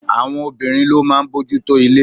Àwọn obìnrin ló máa ń bójú tó ilé.